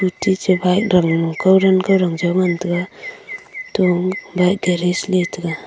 techa bike danglo kaudan kaudang jo ngantaga to bike garage nyi taga.